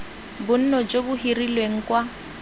bonno jo bo hirilweng kwa